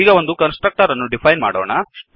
ಈಗ ಒಂದು constructor ಅನ್ನು ಡಿಫೈನ್ ಮಾಡೋಣ